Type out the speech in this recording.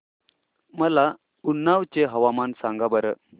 मला उन्नाव चे हवामान सांगा बरं